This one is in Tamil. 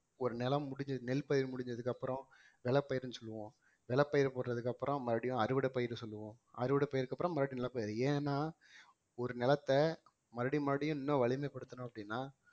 ஒரு நிலம் முடிஞ்சு நெல் பயிர் முடிஞ்சதுக்கு அப்புறம் நிலப்பயிருன்னு சொல்லுவோம் விளைபயிர் போட்டதுக்கு அப்புறம் மறுபடியும் அறுவடை பயிர் சொல்லுவோம் அறுவடை பயிருக்கு அப்புறம் மறுபடியும் நிலப்பயிரு ஏன்னா ஒரு நிலத்தை மறுபடியும் மறுபடியும் இன்னும் வலிமைப்படுத்தணும் அப்படின்னா